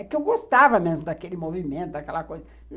É que eu gostava mesmo daquele movimento, daquela coisa.